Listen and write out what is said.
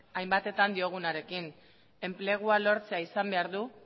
hainbatetan diogunarekin enplegua lortzea izan behar du